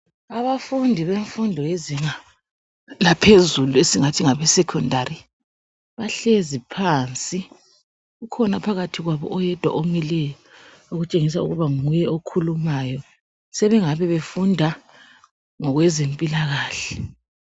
Abafundi bemfundo yezinga laphezulu esingathi ngabe secondary ,bahlezi baphansi. Kukhona phakathi kwabo oyedwa omileyo ,okutshengisa ukuba nguye okhulumayo. Sebengabe befunda ngokwezempilakahle.